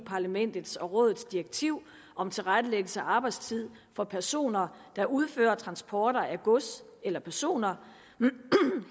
parlamentets og rådets direktiv om tilrettelæggelse af arbejdstid for personer der udfører transporter af gods eller personer